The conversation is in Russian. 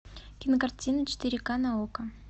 кинокартина четыре ка на окко